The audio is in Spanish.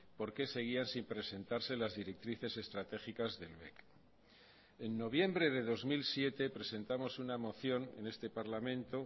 por qué seguían sin presentarse las directrices estratégicas del bec en noviembre de dos mil siete presentamos una moción en este parlamento